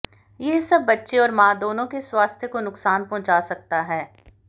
यह सब बच्चे और मां दोनों के स्वास्थ्य को नुकसान पहुंचा सकता है